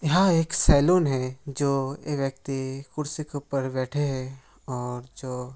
यह एक सैलून है जो एक व्यक्ति कुर्सी के ऊपर बैठे हैं और जो --